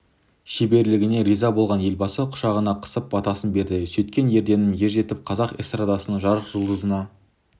шеберлігіне риза болған елбасы құшағына қысып батасын берді сөйткен ерденім ержетіп қазақ эстрадасының жарық жұлдызына